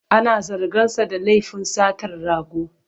Ana zarginsa da lafin satar rago.